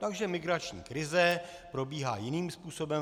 Takže migrační krize probíhá jiným způsobem.